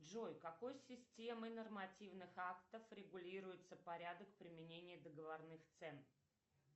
джой какой системой нормативных актов регулируется порядок применения договорных цен